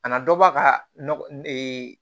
Kana dɔ bɔ a ka nɔgɔ